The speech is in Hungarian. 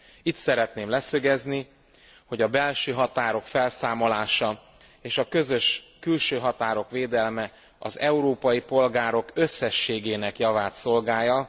Itt szeretném leszögezni, hogy a belső határok felszámolása és a közös külső határok védelme az európai polgárok összességének javát szolgálja.